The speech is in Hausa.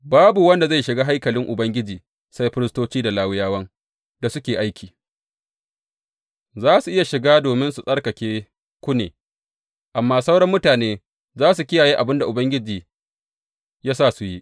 Babu wanda zai shiga haikalin Ubangiji sai firistoci da Lawiyawan da suke a aiki; za su iya shiga domin su tsarkaku ne, amma sauran mutane za su kiyaye abin da Ubangiji ya sa su yi.